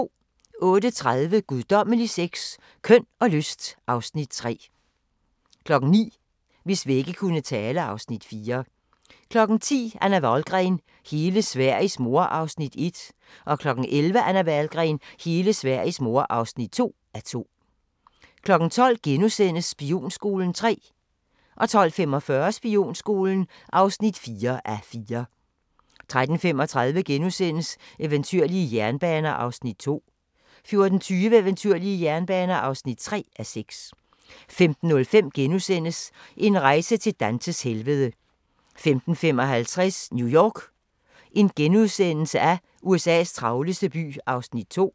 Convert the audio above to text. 08:30: Guddommelig sex – Køn og lyst (Afs. 3) 09:00: Hvis vægge kunne tale (Afs. 4) 10:00: Anna Wahlgren: Hele Sveriges mor (1:2) 11:00: Anna Wahlgren: Hele Sveriges mor (2:2) 12:00: Spionskolen (3:4)* 12:45: Spionskolen (4:4) 13:35: Eventyrlige jernbaner (2:6)* 14:20: Eventyrlige jernbaner (3:6) 15:05: En rejse til Dantes helvede * 15:55: New York – USA's travleste by (2:3)*